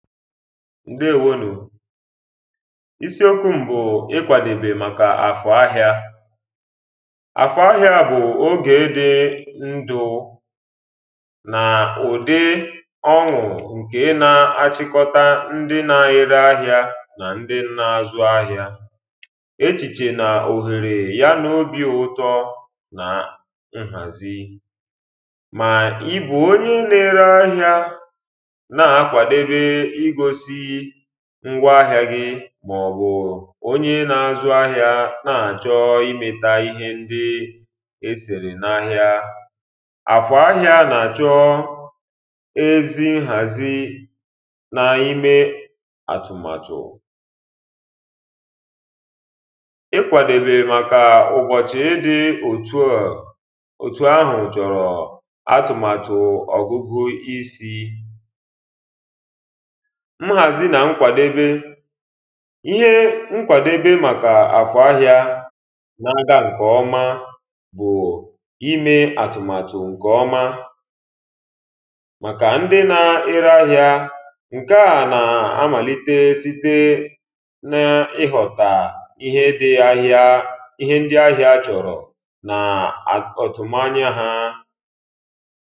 ǹdɛ̀ɛ̀wónʊ̀ ísíókʷú m bʊ̀ ị́kʷàdòbè màkà àkʊ̀ áhị́á àkʊ̀ áhị́á bʊ̀ ógé dị́ ndʊ́ʊ́ nà ʊ̀dị́ ɔ́ṅʊ̀ ǹkè ná-áʧị́kɔ́tá ńdị́ ná-éré áhị́á nà ńdị́ ná-ázʊ́ áhị́á éʧìʧè nà òhèrè yá nà óbì ʊ̀tɔ́ nà ǹɣàzí mà ị́ bʊ̀ óɲé ná-éré áhị́á ná-ákʷàdóbé ígósí ńgʷa áhị́á gị́ màɔ̀bʊ̀ óɲé ná-ázʊ́ áhị́á ná-áʧɔ́ ímɛ́tá íhé ńdị́ ésèrè n'áhị́á àfɔ̀ áhị́á nà-àʧɔ́ ézí ńɣàzí n'ímé àtʊ̀màtʊ̀ ị́kʷàdòbè màkà ʊ̀bɔ̀ʧị́ dị́ òtù à òtù áhʊ̀ ʧɔ̀rɔ̀ àtʊ̀màtʊ̀ ɔ̀gʊ́gʊ́ísí ńɣàzí nà ńkʷàdébé íhé ńkʷàdébé màkà àkʊ̀ áhị́á ná-ágá ǹkè ɔ́má bʊ̀ ímé àtʊ̀màtʊ̀ ǹkè ɔ́má màkà ńdị́ ná-éré áhị́á ǹké à nà-ámàlíté síté ná ị́ɣʊ̀tà íhé dị́ áhị́á íhé ńdị́ áhị́á ʧɔ̀rɔ̀ nà aka òtù manya ha ǹdeewonụ̀ isiokwu m bụ̀ ikwàdòbè màkà àkụ̀ ahịa àkụ̀ ahịa bụ̀ oge dị ndụụ nà ụ̀dị ọṅụ̀ ǹkè na-achịkọta ndị na-ere ahịa nà ndị na-azụ ahịa echìchè nà òhèrè ya nà obì ụtọ nà nghàzi mà ị́ bụ̀ onye na-ere ahịa na-akwadobe igosi ngwa ahịa gị màọ̀bụ̀ onye na-azụ ahịa na-achọ imeta ihe ndị esèrè n'ahịa àfɔ̀ áhị́á nà-àʧɔ́ ezi nghàzi n'ime àtụ̀màtụ̀ ikwàdòbè màkà ụ̀bọ̀chị dị òtù à òtù ahù chọ̀rọ̀ àtụ̀màtụ̀ ọ̀gụgụisi nghàzi nà nkwàdebe ihe nkwàdebe màkà àkụ̀ ahịa na-aga ǹkè ọma bụ̀ ime àtụ̀màtụ̀ ǹkè ọma màkà ndị na-ere ahịa ǹke a nà-amàlite site na ịghọ̀tà ihe dị ahịa ihe ndị ahịa chọ̀rọ̀ nà áká òtù mányá há